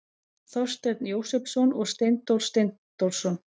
Þorsteinn Jósepsson og Steindór Steindórsson.